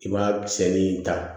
I b'a misɛnnin in ta